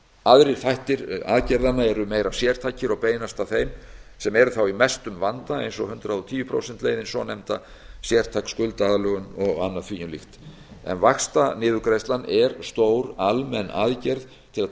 aðrir þættir aðgerðanna eru meira sértækir og beinast að þeim sem eru þá í mestum vanda eins og hundrað og tíu prósenta leiðin svonefnda sértæk skuldaaðlögun og annað því um líkt en vaxtaniðurgreiðslan er stór almenn aðgerð til að